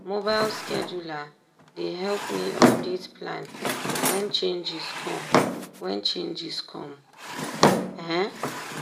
mobile scheduler dey help me update plan wen changes come wen changes come up. um